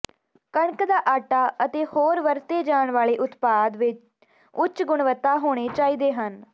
ਕਣਕ ਦਾ ਆਟਾ ਅਤੇ ਹੋਰ ਵਰਤੇ ਜਾਣ ਵਾਲੇ ਉਤਪਾਦ ਵੀ ਉੱਚ ਗੁਣਵੱਤਾ ਹੋਣੇ ਚਾਹੀਦੇ ਹਨ